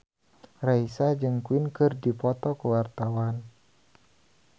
Raisa jeung Queen keur dipoto ku wartawan